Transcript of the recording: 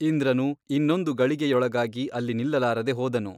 ಇಂದ್ರನು ಇನ್ನೊಂದು ಗಳಿಗೆಯೊಳಗಾಗಿ ಅಲ್ಲಿ ನಿಲ್ಲಲಾರದೆ ಹೋದನು.